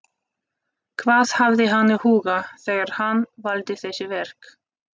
Hvað hafði hann í huga þegar hann valdi þessi verk?